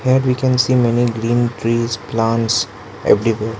here we can see many green trees plants everywhere.